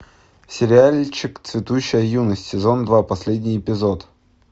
сериальчик цветущая юность сезон два последний эпизод